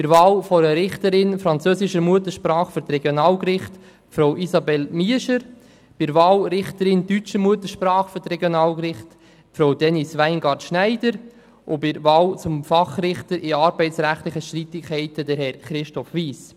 Bei der Wahl einer Richterin, französische Muttersprache für die Regionalgerichte, Frau Isabelle Miescher, bei der Wahl Richterin deutsche Muttersprache für die Regionalgerichte Frau Denise Weingart-Schneider und bei der Wahl zum Fachrichter in arbeitsrechtlichen Streitigkeiten Herrn Christoph Wyss.